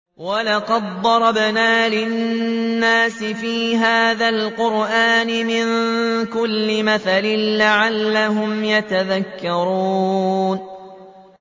وَلَقَدْ ضَرَبْنَا لِلنَّاسِ فِي هَٰذَا الْقُرْآنِ مِن كُلِّ مَثَلٍ لَّعَلَّهُمْ يَتَذَكَّرُونَ